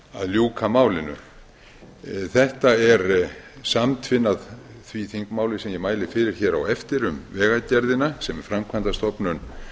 ljúka málinu þetta er samtvinnað því þingmáli sem ég mæli fyrir hér á eftir um vegagerðina sem er framkvæmdastofnun